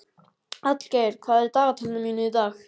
Hallgeir, hvað er í dagatalinu mínu í dag?